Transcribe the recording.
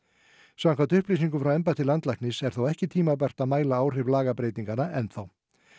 samkvæmt upplýsingum frá embætti landlæknis er þó ekki tímabært að mæla áhrif lagabreytinganna enn þá